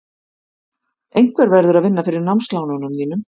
Einhver verður að vinna fyrir námslánunum þínum.